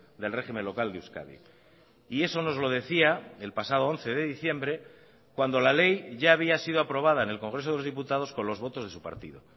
del régimen local de euskadi y eso nos lo decía el pasado once de diciembre cuando la ley ya había sido aprobada en el congreso de los diputados con los votos de su partido